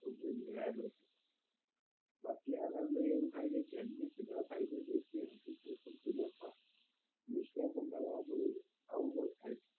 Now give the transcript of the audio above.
જે બાકી એમાં એવું થાય છે